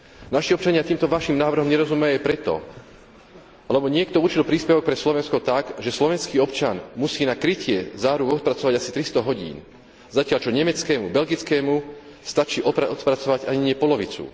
Naši občania týmto vašim návrhom nerozumejú aj preto, lebo niekto určil príspevok pre Slovensko tak, že slovenský občan musí na krytie záruk odpracovať asi 300 hodín, zatiaľ čo nemeckému, belgickému stačí odpracovať ani nie polovicu.